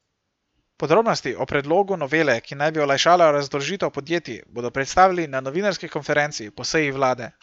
Podrobnosti o predlogu novele, ki naj bi olajšala razdolžitev podjetij, bodo predstavili na novinarski konferenci po seji vlade.